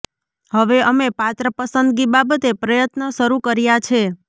હવે અમે પાત્ર પસંદગી બાબતે પ્રયત્ન શરૂ કર્યા છે